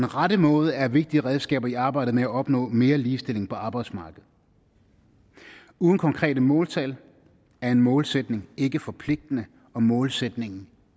rette måde er vigtige redskaber i arbejdet med at opnå mere ligestilling på arbejdsmarkedet uden konkrete måltal er en målsætning ikke forpligtende og målsætningen